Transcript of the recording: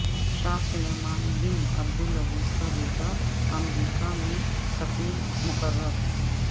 شاہ سلمان بن عبدالعزیزکا بیٹا امریکا میں سفیر مقرر